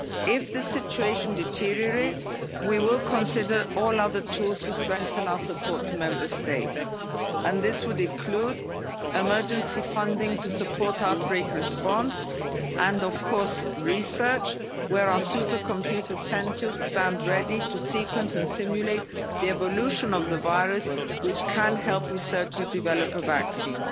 If the situation deteriorates, we will consider all other tools to strengthen our support to Member States, and this would include emergency funding to support outbreak response and, of course, research, where our supercomputer centres stand ready to sequence and simulate the evolution of the virus, which can help researchers develop a vaccine.